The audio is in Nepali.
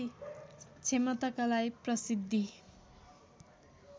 क्षमताका लागि प्रसिद्धि